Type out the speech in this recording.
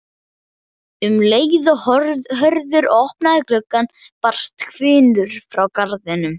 Um leið og Hörður opnaði gluggann barst hvinur frá garðinum.